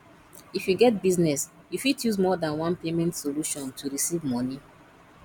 if you get business you fit use more than one payment solution to recieve money